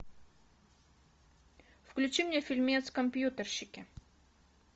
включи мне фильмец компьютерщики